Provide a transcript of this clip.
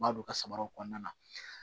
N b'a don ka samaraw kɔnɔna na